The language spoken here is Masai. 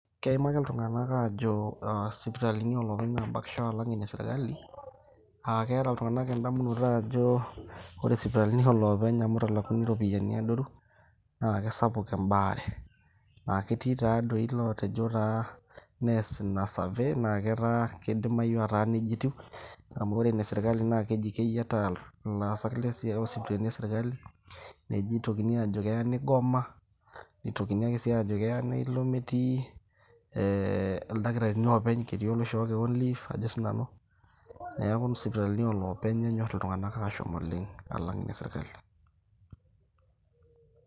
Keimaki iltung'anak ajo sipitalini oolopeny nabakisho alang' ine sirkali, aake eta iltung'anak endamunoto ajo ore sipitalini oolopeny amu italakuni iropiani adoru naake sapuk embaare. Naake ketii tadoi lotejo taa neas ina survey, naa kidimayu ataa neja etiu amu ore ina e seirkali keji keyiataa ilaasak lesiai. Ore sipitalini e sirkali, neji itokini ajo keya nigoma, nitokini sii ajo keya neilo metii ildakitarini openy, ketii oloishoo kewon leave ajo sinanu. Neeku sipitalini oolopeny enyor iltung'anak ashom oleng' alang' ine sirkali.